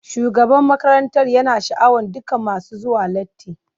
Shugaban makarantar yana sha'awar dukan masu zuwa latti.